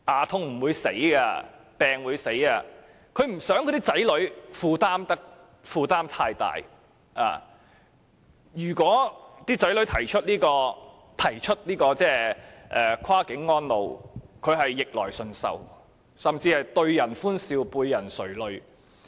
他們不想子女負擔太大，如果子女提出跨境安老，他們只會逆來順受，甚至對人歡笑背人垂淚。